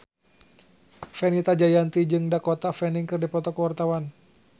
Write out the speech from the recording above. Fenita Jayanti jeung Dakota Fanning keur dipoto ku wartawan